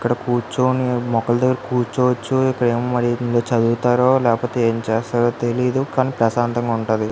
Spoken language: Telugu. ఇక్కడ కూర్చొని కూర్చోవచ్చు ఇక్కడేమో మరి చదువుతారా లేపోతే ఎం చేస్తారో తెలీదు కానీ ప్రశాంతం గ ఉంటది.